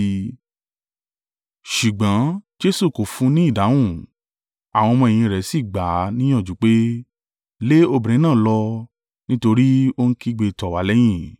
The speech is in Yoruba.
Ṣùgbọ́n Jesu kò fún un ní ìdáhùn, àwọn ọmọ-ẹ̀yìn rẹ̀ sì gbà á níyànjú pé, “Lé obìnrin náà lọ, nítorí ó ń kígbe tọ̀ wá lẹ́yìn.”